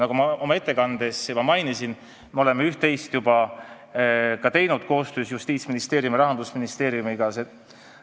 Nagu ma ettekandes juba mainisin, me oleme üht-teist juba koostöös Justiitsministeeriumi ja Rahandusministeeriumiga ka teinud.